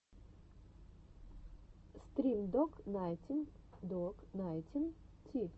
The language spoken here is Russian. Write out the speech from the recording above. стрим док найнтин док найнтин ти